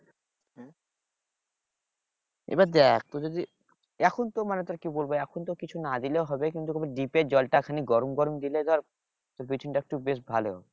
এবার দেখ তোর যদি এখনতো মানে তোর কি বলব এখন তো কিছু না দিলেও হবে কিন্তু deep এর জলটা খানিক গরম গরম দিলে ধর বিচন টা একটু বেশ ভালো